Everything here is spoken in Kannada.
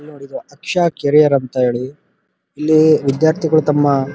ಇಲ್ನೋಡಿ ಇದು ಅಕ್ಷ ಕೆರಿಯರ್ ಅಂತ ಹೇಳಿ ಇಲ್ಲಿ ವಿದ್ಯಾರ್ಥಿಗಳು ತಮ್ಮ --